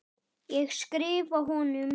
Ég skrifa honum!